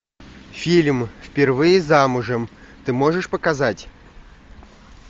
фильм впервые замужем ты можешь показать